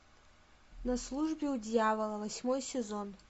на службе у дьявола восьмой сезон